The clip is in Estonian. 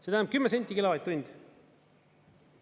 See tähendab 10 senti kilovatt-tund.